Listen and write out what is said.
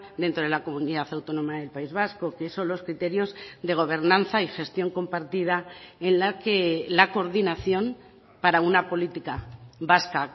dentro de la comunidad autónoma del país vasco que son los criterios de gobernanza y gestión compartida en la que la coordinación para una política vasca